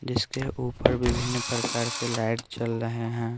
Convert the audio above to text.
जिसके ऊपर विभिन्न प्रकार के लाइट चल रहे हैं।